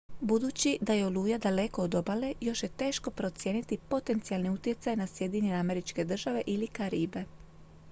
budući da je oluja daleko od obale još je teško procijeniti potencijalni utjecaj na sjedinjene američke države ili karibe